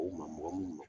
O maa mɔgɔ minnu